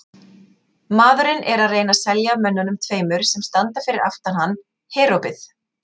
Maðurinn er að reyna að selja mönnunum tveimur sem standa fyrir aftan hann Herópið.